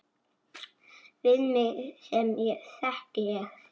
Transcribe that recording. Við mig sem þekki þig.